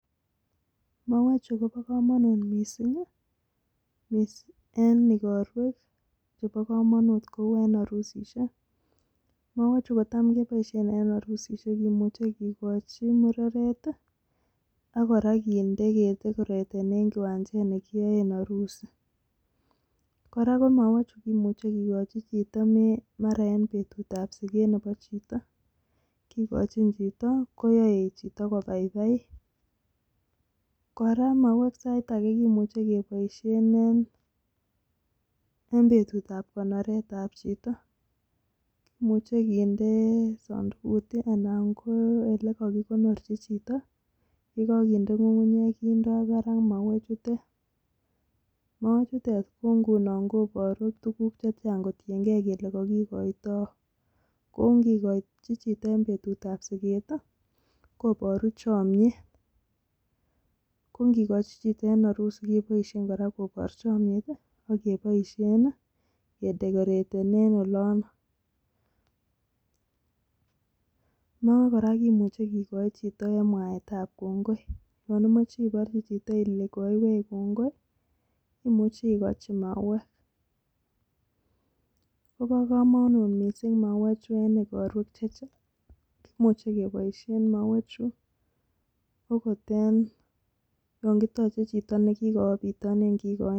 Mauweeek chuu. kopa. kamanut. missimg. mauweee. chuu kotam. kebaisheee. eng harusisheek koraaa sai. ageee koyam. kebaisheee. eng. petit.ap.konoret ap.chito not koparu. tugun chechang angot petut ap.sigeet. koparuu chamnyeeet angot. kora. kikachin. chito. eng ngalek.ap.kongoi.